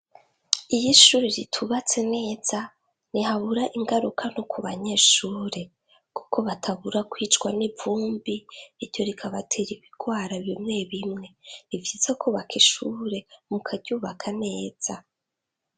Iyi ishuri ritubatse neza ni habura ingaruka no ku banyeshure, kuko batabura kwicwa n'ivumbi iryo rikabatera ibirwara bimwe bimwe riviza kubaka ishure mu karyubaka neza.